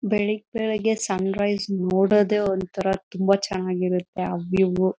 ಬೆಳಿಗ್ ಬೆಳಿಗ್ಗೆ sunrise ನೋಡೋದೇ ಒಂತರ ತುಂಬಾ ಚೆನ್ನಾಗಿರುತ್ತೆ ಆ ವ್ಯೂ .